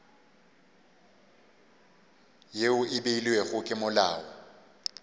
yeo e beilwego ke molao